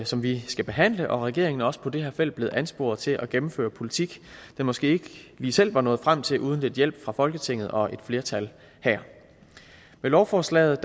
som vi skal behandle og regeringen er også på det her felt blevet ansporet til at gennemføre politik den måske ikke lige selv var nået frem til uden lidt hjælp fra folketinget og et flertal her i lovforslaget